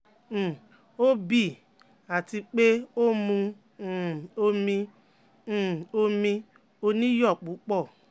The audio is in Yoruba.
um Ó bì í àti pé ó mu um omi um omi oníyọ̀ púpọ̀